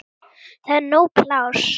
Það er nóg pláss.